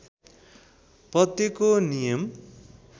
पद्यको नियम